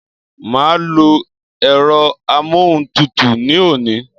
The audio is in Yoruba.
Màá lo èro amóhuntutù ní òní